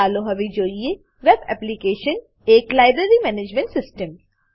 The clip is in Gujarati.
ચાલો હવે જોઈએ વેબ એપ્લીકેશન એક લાઇબ્રેરી મેનેજમેંટ સીસ્ટમ